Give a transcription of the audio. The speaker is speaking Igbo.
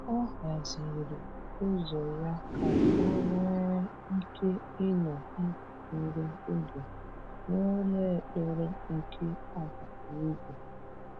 O haziri ụzọ ya ka ọ nwee ike ịnọ ntakịrị oge n’ụlọ ekpere nke agbata obi.